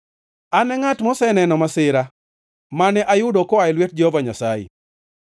An e ngʼat moseneno masira mane ayudo koa e lwet Jehova Nyasaye.